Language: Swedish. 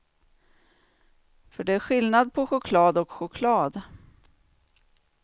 För det är skillnad på choklad och choklad.